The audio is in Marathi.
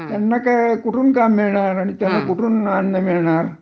त्यांना काम मिळणार नाही. आणि त्यांना कुढून अन्न मिळणार